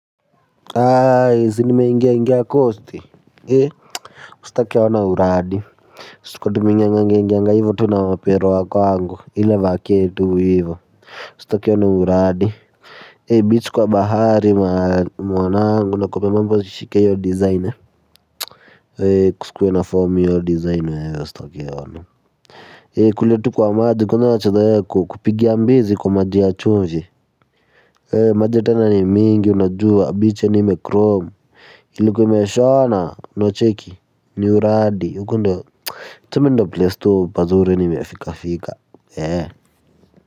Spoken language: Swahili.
Aaa zi nimeingia ingia coast ee ustake ona uradi siku kwa tuminganga ngenganga hivyo tu na wapero wako angu ila vaketu hivyo usta kia wana uradi ee beach kwa bahari mwanangu na kopemampo zishike yo designer ee kusikuwe na form iyo designer hewe ustake ona ee kule tu kwa maji kwenye wachadaya kupigia mbizi kwa maji ya chunji ee maji ya tena ni mingi unajua beach yani ime chrome ilkwa ime shona unacheki ni uradi uko ndo tuseme ndo place tu pazuri ni mefika fika eh.